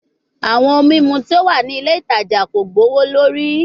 Awọn ohun mimu ti o wa ni ile itaja ko gbowolori